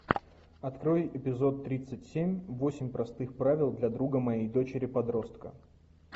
открой эпизод тридцать семь восемь простых правил для друга моей дочери подростка